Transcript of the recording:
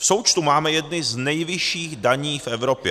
V součtu máme jedny z nejvyšších daní v Evropě.